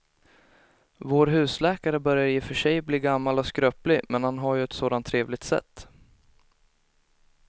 Vår husläkare börjar i och för sig bli gammal och skröplig, men han har ju ett sådant trevligt sätt!